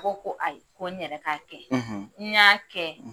K'o ko ayi ko n yɛrɛ ka kɛ n y'a kɛ